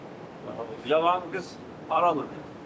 Qəşəng qız haralıdır?